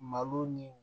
Malo ni